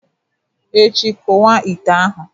echi, kuwa ite ahu!